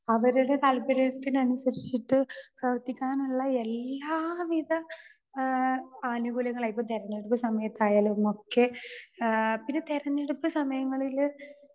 Speaker 2 അവരുടെ താല്പര്യത്തിന് അനുസരിച്ചിട്ട് പ്രവർത്തിക്കാനുള്ള എല്ലാവിധ ആ ആനുകൂല്യങ്ങളായി. ആ ഇപ്പൊ തിരഞ്ഞെടുപ്പ് സമയത്ത് ആയാലും ഒക്കെ ആ പിന്നെ തിരഞ്ഞെടുപ്പ് സമയങ്ങളില്